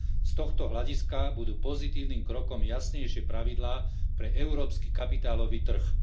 Z tohto hľadiska budú pozitívnym krokom jasnejšie pravidlá pre európsky kapitálový trh.